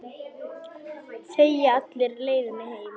Þegir alla leiðina heim.